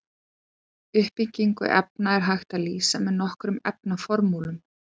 Uppbyggingu efna er hægt að lýsa með nokkrum efnaformúlum.